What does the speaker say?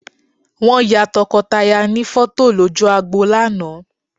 Wọ́n ya tọkọtaya ní fọ́tò lójú agbo lánàá